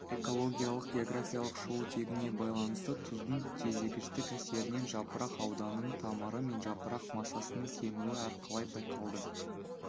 экологиялық географиялық шығу тегіне байланысты тұздың тежегіштік әсерінен жапырақ ауданының тамыры мен жапырақ массасының кемуі әрқалай байқалды